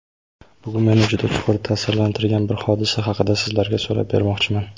Bugun meni juda chuqur ta’sirlantirgan bir hodisa haqida sizlarga so‘zlab bermoqchiman.